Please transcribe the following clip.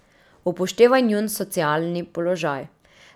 Upoštevaj njun socialni položaj.